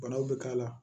Banaw bɛ k'a la